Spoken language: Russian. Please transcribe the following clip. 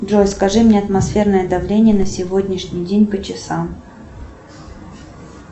джой скажи мне атмосферное давление на сегодняшний день по часам